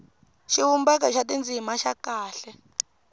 xivumbeko xa tindzimana xa kahle